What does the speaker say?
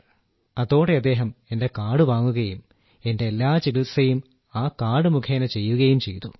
അതോടെ അദ്ദേഹം എന്റെ കാർഡ് വാങ്ങുകയും എന്റെ എല്ലാ ചികിത്സയും ആ കാർഡ് മുഖേന ചെയ്യുകയും ചെയ്തു